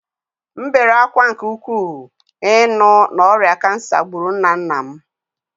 M bere ákwá nke ukwuu ịnụ na ọrịa kansa gburu nna nna m